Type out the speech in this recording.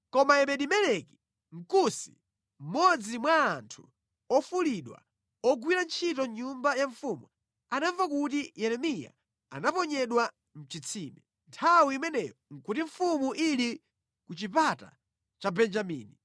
Koma Ebedi-Meleki, Mkusi, mmodzi mwa anthu ofulidwa ogwira ntchito mʼnyumba ya mfumu, anamva kuti Yeremiya anamuponya mʼchitsime. Nthawi imeneyo nʼkuti mfumu ili ku chipata cha Benjamini.